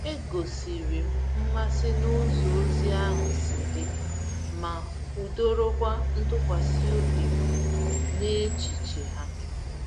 E gosiri m mmasị n’ụzọ ozi ahụ si dị, ma kwudorokwa ntụkwasị obi m n’echiche ha.